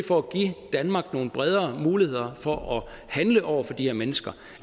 for at give danmark nogle bredere muligheder for at handle over for de her mennesker